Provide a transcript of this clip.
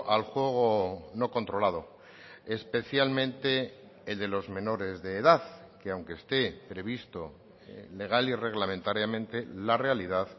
al juego no controlado especialmente el de los menores de edad que aunque esté previsto legal y reglamentariamente la realidad